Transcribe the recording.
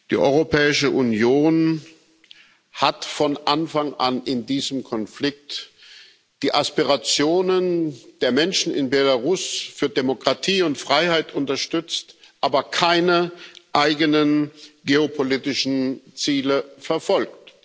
Die Europäische Union hat von Anfang an in diesem Konflikt die Aspirationen der Menschen in Belarus für Demokratie und Freiheit unterstützt, aber keine eigenen geopolitischen Ziele verfolgt.